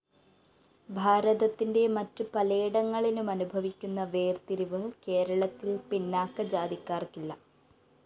ഭാരതത്തിന്റെ മറ്റു പലേടങ്ങളിലുമനുഭവിക്കുന്ന വേര്‍തിരിവ് കേരളത്തില്‍ പിന്നാക്ക ജാതിക്കാര്‍ക്കില്ല